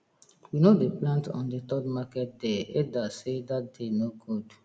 we no dey plant on the third market day elders sey that day no good